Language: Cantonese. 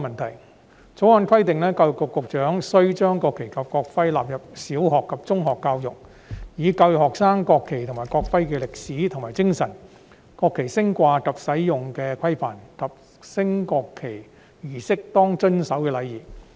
《條例草案》規定，教育局局長須將國旗及國徽納入小學及中學教育，以教育學生國旗及國徽的歷史和精神、國旗升掛及使用的規範，以及在升國旗儀式上應當遵守的禮儀。